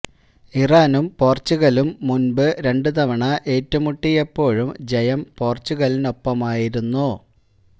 ഇറാനും പോര്ച്ചുഗലും മുന്പ് രണ്ടു തവണ ഏറ്റു മുട്ടിയപ്പോഴും ജയം പോര്ച്ചുഗലിനൊപ്പമായിരുന്നു